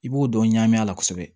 I b'o dɔn ɲagami a la kosɛbɛ